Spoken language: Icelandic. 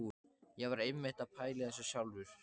Ég var einmitt að pæla í þessu sjálfur!